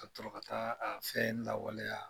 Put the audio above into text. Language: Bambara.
Ka sɔrɔ ka taa a fɛn lawaleya.